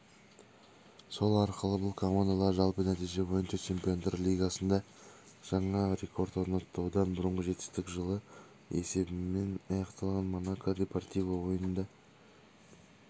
сол арқылы бұл командалар жалпы нәтиже бойынша чемпиондар лигасында жаңа рекорд орнатты одан бұрынғы жетістік жылы есебімен аяқталған монако депортиво ойынында